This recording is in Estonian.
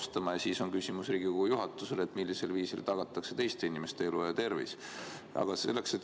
Sellest tulenevalt on mul küsimus Riigikogu juhatusele: millisel viisil tagatakse teiste inimeste elu ja tervis?